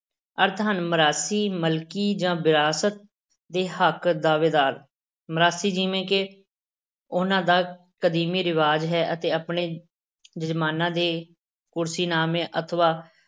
ਅਰਥ ਹਨ ਮਰਾਸੀ ਮਾਲਕੀ ਜਾਂ ਵਿਰਾਸਤ ਦੇ ਹੱਕ ਦਾਅਵੇਦਾਰ, ਮਰਾਸੀ ਜਿਵੇਂ ਉਹਨਾਂ ਦਾ ਕਦੀਮੀ ਰਿਵਾਜ ਹੈ ਅਤੇ ਆਪਣੇ ਜਜਮਾਨਾਂ ਦੇ ਕੁਰਸੀਨਾਮੇ ਅਥਵਾ